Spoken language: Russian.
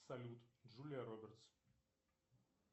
салют джулия робертс